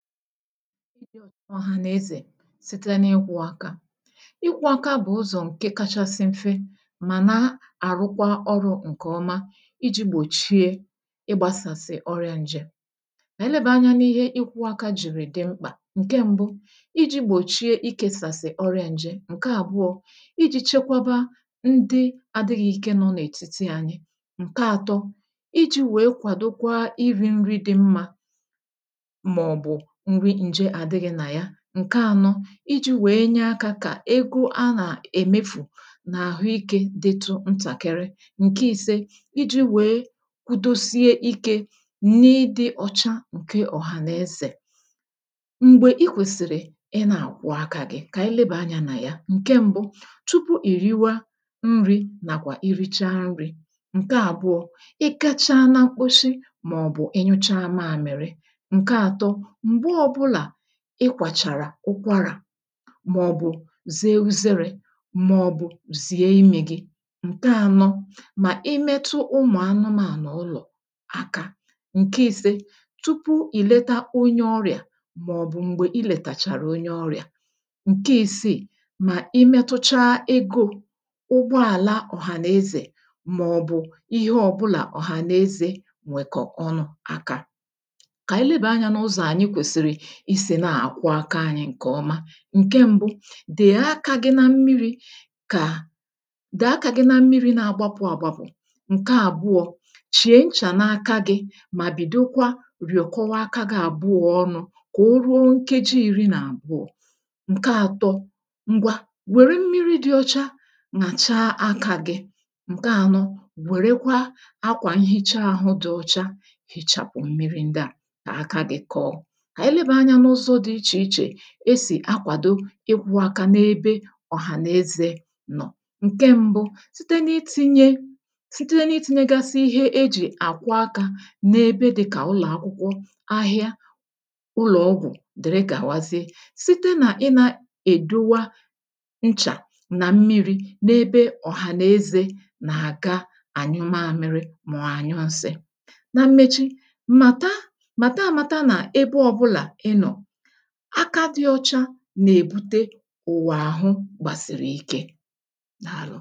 ịdị ọ̀cha òhànàeze site nà-ịkwọ aka ịkwọ aka bụ̀ ụzọ̀ ǹke kachasị mfe màna àrụkwa ọrụ̄ ǹkè ọma iji gbòchie ịgbasàsị̀ ọrịa nje kà ànyị lebèe anya n’ihe ịkwọ aka j̀ìrì dị mkpà ǹke mbu iji gbòchie ịkesàsị̀ ọrịa nje ǹke àbụọ iji chekwa ndị adịghị ike nọ n’ètitì anyị ǹke atọ iji wèe kwàdokwa nri dị mmā màọ̀bụ̀ nri nje àdịghị nà ya ǹke anọ iji wèe nye akā kà egō a nà-èmefù n’àhụikē ditu ntàkịrị ǹke ise iji wèe kwudosie ikē n’ịdị ọ̀cha ǹke ọ̀hànàezè m̀gbè I kwesìrì ịna ạkwọ aka gị kà ànyị lebèe anyā nà ya ǹke mbu tupu ì riwa nrī nàkwà I richaa nrī ǹke àbụọ ị gacha na mkposi màọ̀bụ̀ ị nyụcha mamiri ǹke atọ m̀gbe ọbụlà ị kwàchàrà ụkwarà màọ̀bụ̀ zee uzerē màɔ̀bʊ̀ zìé ímī gí ǹke anọ mà I metu ụmụ̀anụmànụ ụlọ̀ aka ǹke ise tupu ị̀ leta onye ọ́rɪ́à màọ̀ụ̀ m̀gbè I lètàchàrà onye ọrịà ǹke isiì mà I metụcha egō ụgbọàla ọ̀hànàezè màọbụ ihe ọ̀bụlạ ọ̀hànàezè nwèkọ̀ ọnụ aka kà ànyị lebèe anyā n’ụzọ̀ ànyị kwèsìrì isi na-àkwọ aka anyị ǹkè ọma ǹke mbụ dée aka gị na mmirī kà dèe aka na mmirī na-agbapụ agbapụ̀ ǹke àbụọ chìe nchà n’aka gị mà bidokwa rìọ̀kọba aka gị àbụọ ọnụ̄ kà o ruo nkeji iri nà àbụọ ǹke atọ ngwa wère mmiri dị ọcha nyàchaa akā gị ǹke anọ wèrekwa akwà nhiche ahụ dị ọcha hichàpụ̀ mmiri ndịà kà aka gị kọọ kà ànyị lebèe anyā n’ụzọ dị ichè ichè esì akwàdo ịkwọ aka nà-ebe ọ̀hànàeze nọ ǹke mbụ site n’itinye site n’itinyegasị ihe ejì àkwọ akā nà-ebe dịkà ụlọ̀akwụkwọ ahịa ụlọọgwụ̀ dìrigàwazie site nà ịna èduwa nchà nà m̀mirī nà ebe ọ̀hànàeze nà-àga ànyụ mamịrị mọ̀ ànyụ nsi nà mmechi màta màta amata nà ebe ọbụlà ị nọ aka dị ọcha nà-èbute ụ̀wà àhụ gbàsìrì ike dàalụ